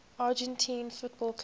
argentine football clubs